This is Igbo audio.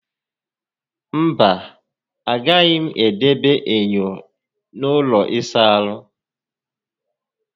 Mba, agaghị m edebe enyo n'ụlọ ịsa ahụ